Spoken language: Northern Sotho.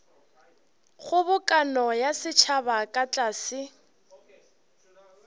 kgobokano ya setšhaba ka tlase